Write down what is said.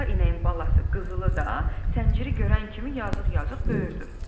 Ala inəyin balası Qızılı da sənciri görən kimi yazıq-yazıq böyürdü.